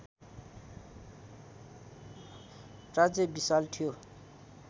राज्य विशाल थियो